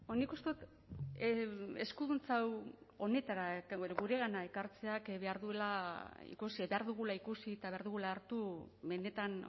nik uste dut eskuduntza hau honetara guregana ekartzeak behar duela ikusi behar dugula ikusi eta behar dugula hartu mendeetan